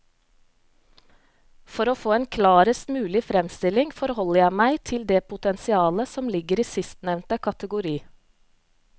For å få en klarest mulig fremstilling forholder jeg meg til det potensialet som ligger i sistnevnte kategori.